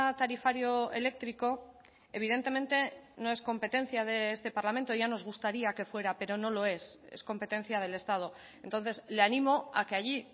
tarifario eléctrico evidentemente no es competencia de este parlamento ya nos gustaría que fuera pero no lo es es competencia del estado entonces le ánimo a que allí